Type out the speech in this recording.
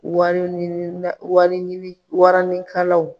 Wari ɲini na wari ɲini waranikalaw